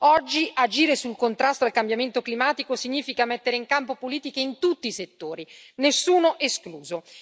Oggi, agire sul contrasto al cambiamento climatico significa mettere in campo politiche in tutti i settori, nessuno escluso.